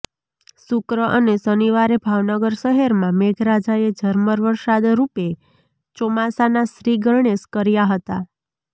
શુક્ર અને શનિવારે ભાવનગર શહેરમાં મેઘરાજાએ ઝરમર વરસાદ રૃપે ચોમાસાના શ્રીગણેશ કર્યા હતા